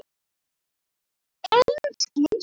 Einskis völ.